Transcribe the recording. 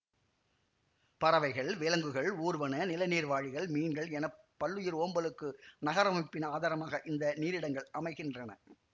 பறவைகள் விலங்குகள் ஊர்வன நிலநீர் வாழிகள் மீன்கள் என பல்லுயிர் ஓம்பலுக்கு நகரமைப்பின் ஆதாரமாக இந்த நீரிடங்கள் அமைகின்றன